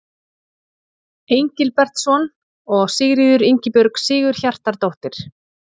Engilbertsson og Sigríður Ingibjörg Sigurhjartardóttir.